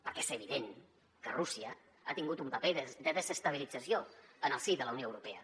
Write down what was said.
perquè és evi·dent que rússia ha tingut un paper de desestabilització en el si de la unió europea